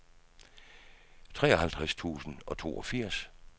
treoghalvtreds tusind og toogfirs